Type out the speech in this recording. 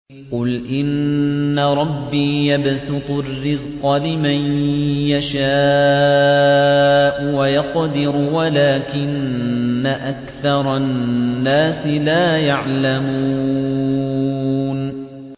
قُلْ إِنَّ رَبِّي يَبْسُطُ الرِّزْقَ لِمَن يَشَاءُ وَيَقْدِرُ وَلَٰكِنَّ أَكْثَرَ النَّاسِ لَا يَعْلَمُونَ